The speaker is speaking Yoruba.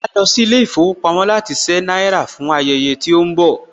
Màá lọ sí ilé ìfowópamọ́ láti ṣé náírà fún ayẹyẹ tó ń bọ̀ lọ́nà